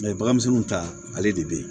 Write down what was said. baganmisɛnninw ta ale de be yen